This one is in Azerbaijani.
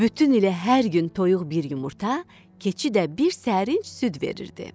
Bütün ilə hər gün toyuq bir yumurta, keçi də bir sərinc süd verirdi.